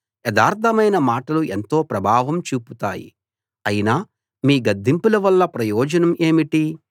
యథార్థమైన మాటలు ఎంతో ప్రభావం చూపుతాయి అయినా మీ గద్దింపుల వల్ల ప్రయోజనం ఏమిటి